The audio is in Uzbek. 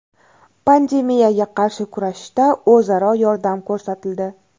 Pandemiyaga qarshi kurashishda o‘zaro yordam ko‘rsatildi.